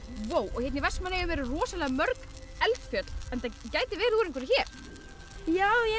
og hérna í Vestmannaeyjum eru rosalega mörg eldfjöll þetta gæti verið úr einhverju hér já ég